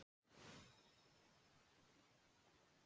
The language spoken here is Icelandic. Því er aðeins bólusett þar sem veikin er landlæg.